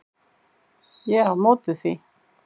Ég er á móti því.